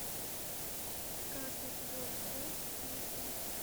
каждый твой вздох песня